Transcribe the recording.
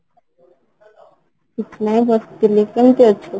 କିଛି ନାଇଁ ବସିଥିଲି, କେମିତି ଅଛୁ?